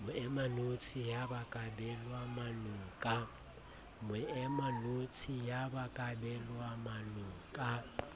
moemanotshi ya ba kabelwamanong ka